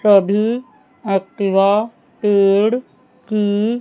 सभी एक्टिवा पेड़ की--